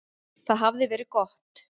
Það hafði verið gott.